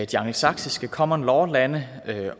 de angelsaksiske common law lande